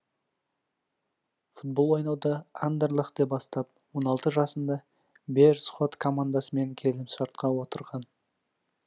футбол ойнауды андерлехте бастап он алты жасында беерсхот командасымен келісімшартқа отырған